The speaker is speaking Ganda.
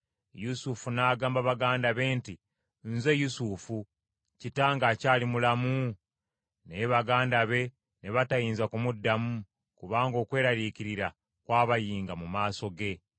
Yusufu n’agamba baganda be nti, “Nze Yusufu, kitange akyali mulamu?” Naye baganda be ne batayinza kumuddamu, kubanga okweraliikirira kwabayinga mu maaso ge.